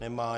Nemá.